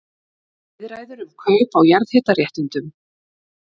Viðræður um kaup á jarðhitaréttindum